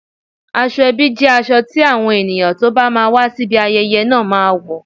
Aṣọ ebi jẹ́ aṣọ tí àwọn ènìyàn tó bá máa wá sí ibi ayẹyẹ náà máa wò